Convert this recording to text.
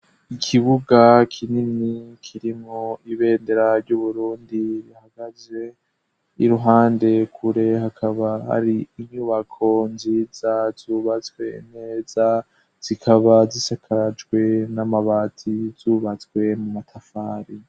Ikibuga kinini kirimwo ibendera ry'Uburundi ihagaze iruhande kure hakaba hari inyubako nziza zubatswe neza zikaba zisakajwe n'amabati zubatswe mu matafari.